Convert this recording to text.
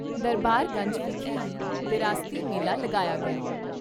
ਦਰਬਾਰ ਗੰਜ ਵਿਖੇ ਹੀ ਵਿਰਾਸਤੀ ਮੇਲਾ ਲਗਾਇਆ ਗਿਆ।